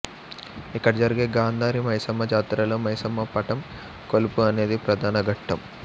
ఇక్కడ జరిగే గాంధారి మైసమ్మ జాతరలో మైసమ్మ పటం కొలుపు అనేది ప్రధాన ఘట్టం